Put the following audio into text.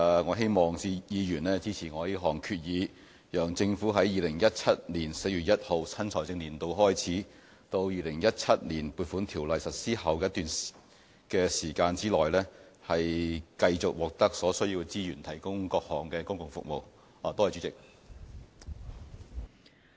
我希望議員支持這項議案，讓政府在2017年4月1日新財政年度開始至《2017年撥款條例》實施的一段期間，繼續獲得所需資源提供各項公共服務。